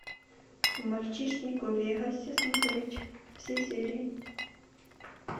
мальчишник в вегасе смотреть все серии